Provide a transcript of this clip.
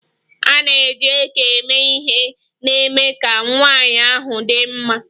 A na-eji eke eme ihe na-eme ka nwanyị ahụ dị mma.